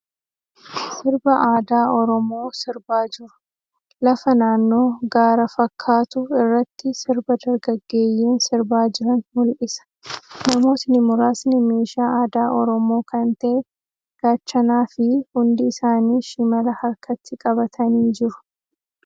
Sirba aadaa Oromoo sirbaa jiru. Lafa naannoo gaara fakkaatu irratti sirba dargaggeeyyiin sirbaa jiran mul'isa. Namootni muraasni meeshaa aadaa Oromoo kan ta'e Gaachana fii hundi isaanii Shimala harkatti qabatanii jiru.